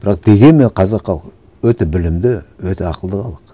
бірақ дегенмен қазақ халқы өте білімді өте ақылды халық